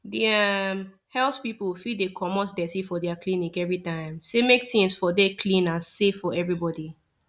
the um health people fit dey comot deti for their clinic everytime say make things for dey clean and safe for everybody